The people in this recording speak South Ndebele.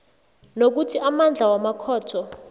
nokuthi amandla wamakhotho